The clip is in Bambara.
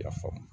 I y'a faamu